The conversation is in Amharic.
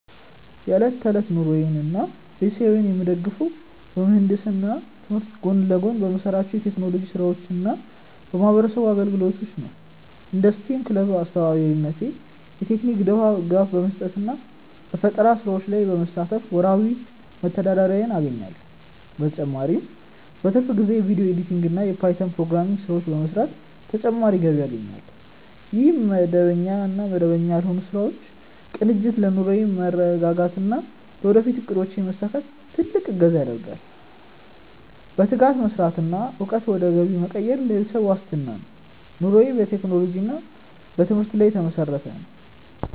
የዕለት ተዕለት ኑሮዬንና ቤተሰቤን የምደግፈው በምህንድስና ትምህርቴ ጎን ለጎን በምሰራቸው የቴክኖሎጂ ስራዎችና በማህበረሰብ አገልግሎት ነው። እንደ ስቴም ክለብ አስተባባሪነቴ የቴክኒክ ድጋፍ በመስጠትና በፈጠራ ስራዎች ላይ በመሳተፍ ወርሃዊ መተዳደሪያዬን አገኛለሁ። በተጨማሪም በትርፍ ጊዜዬ የቪዲዮ ኤዲቲንግና የፓይተን ፕሮግራሚንግ ስራዎችን በመስራት ተጨማሪ ገቢ አገኛለሁ። ይህ መደበኛና መደበኛ ያልሆኑ ስራዎች ቅንጅት ለኑሮዬ መረጋጋትና ለወደፊት እቅዶቼ መሳካት ትልቅ እገዛ ያደርጋል። በትጋት መስራትና እውቀትን ወደ ገቢ መቀየር ለቤተሰብ ዋስትና ነው። ኑሮዬ በቴክኖሎጂና በትምህርት ላይ የተመሰረተ ነው።